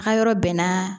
A yɔrɔ bɛnna